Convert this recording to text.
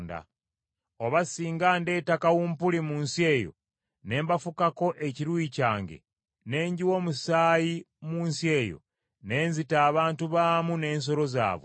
“Oba singa ndeeta kawumpuli mu nsi eyo, ne mbafukako ekiruyi kyange, ne njiwa omusaayi mu nsi eyo, ne nzita abantu baamu n’ensolo zaabwe,